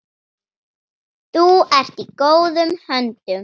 Þar ertu í góðum höndum.